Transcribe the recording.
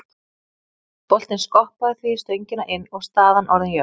Boltinn skoppaði því í stöngina inn og staðan orðin jöfn.